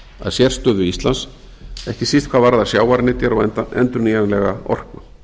að sérstöðu íslands ekki síst hvað varðar sjávarnytjar og endurnýjanlega orku